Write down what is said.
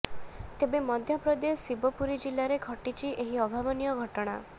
ତେବେ ମଧ୍ୟପ୍ରଦେଶ ଶିବପୁରୀ ଜିଲ୍ଲାରେ ଘଟିଛି ଏକ ଅଭାବନୀୟ ଘଟଣା